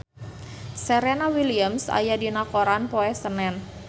Serena Williams aya dina koran poe Senen